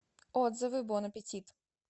отзывы бон аппетит